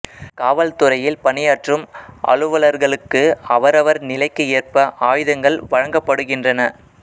காவல் துறையில் பணியாற்றும் அலுவலர்களுக்கு அவரவர் நிலைக்கு ஏற்ப ஆயுதங்கள் வழங்கப்படுகின்றன